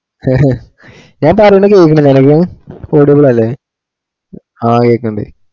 ഞാൻ പറയന്ന കേക്കുന്നില്ലേ അനക്ക് audible അല്ലെ ആ കേക്കണ്ട്